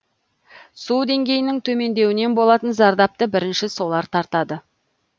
су деңгейінің төмендеуінен болатын зардапты бірінші солар тартады